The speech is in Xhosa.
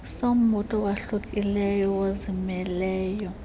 sombutho owahlukileyo nozimeleyo